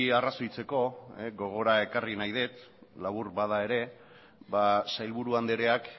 arrazoitzeko gogora ekarri nahi dut labur bada ere ba sailburu andreak